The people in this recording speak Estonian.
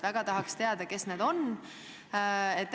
Väga tahaks teada, kes need eksperdid on.